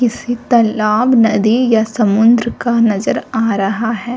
किसी तालाब नदी या समुद्र का नज़र आ रहा है।